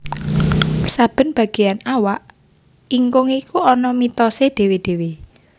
Saben bageyan awak ingkung iku ana mitosé dhéwé dhéwé